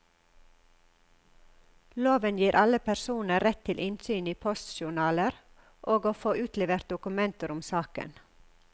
Loven gir alle personer rett til innsyn i postjournaler, og å få utlevert dokumenter om saker.